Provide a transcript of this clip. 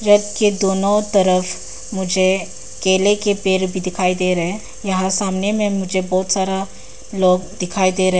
रथ के दोनों तरफ मुझे केले के पेड़ भी दिखाई दे रहे हैं यहां सामने में मुझे बहुत सारा लोग दिखाईदे रहे हैं।